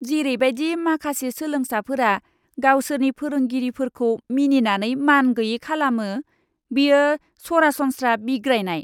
जेरैबादि माखासे सोलोंसाफोरा गावसोरनि फोरोंगिरिफोरखौ मिनिनानै मानगैयै खालामो, बेयो सरासनस्रा बिग्रायनाय!